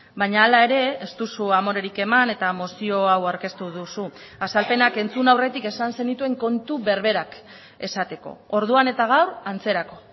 baina hala ere ez duzu amorerik eman eta mozio hau aurkeztu duzu azalpenak entzun aurretik esan zenituen kontu berberak esateko orduan eta gaur antzerako